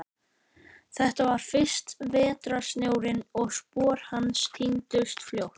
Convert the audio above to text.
Þetta var fyrsti vetrarsnjórinn og spor hans týndust fljótt.